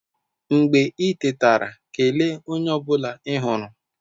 Mgbe i tetara, kelee onye ọ bụla ị hụrụ.